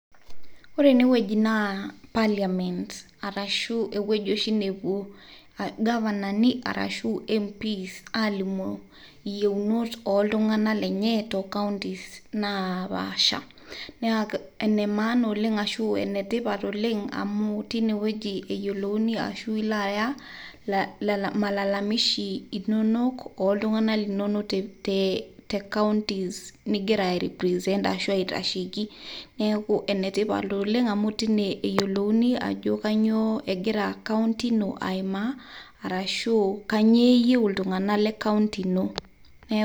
Ore ene wueji na Parliament ashu ewueji oshi nepuo irgafanani arashu MPs aalimu iyieunot ooltung'anak lenye too nkautini naapaasha. Ene tipat oleng' amu teine wueji eyiolouni ashu ilo aya malalamishi linonok ooltung'anak linono te counties ningira aitasheiki. Neeku enetipata amu teine eyiolouni ajo kanyio egira county ino aimaa arashu kanyio eyieu iltung'anak le kaunti ino